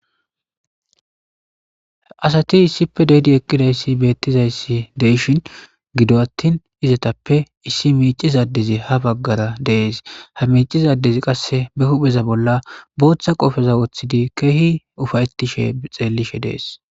Asati issipe de7idi eqqidayssi beettizayssi de7ishin gido attin izatappe issi miicciza addezi ha baggara de7ees. Ha miicciza addezi qasseka be huupheza bolla bootha qoofeza wothidi keehi ufayttishe xeellishe dees.